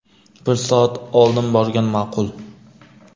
Bir soat oldin borgan ma’qul.